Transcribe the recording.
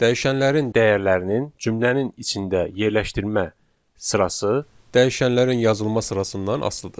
Dəyişənlərin dəyərlərinin cümlənin içində yerləşdirmə sırası dəyişənlərin yazılma sırasından asılıdır.